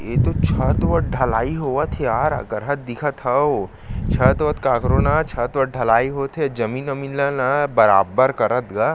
ये तो छत वत ढलाई होवत हे यार अलकरहा दिखत हव छत वत काकरो ना छत वत ढलाई होत हे जमीन वमिन ला ना बराबर करत हे गा--